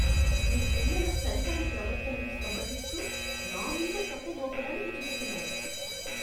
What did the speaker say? మీ పిల్లల సరికాని ప్రవర్తనను సమర్థిస్తూ, నా మీద తప్పు మోపడానికి చూస్తున్నారు.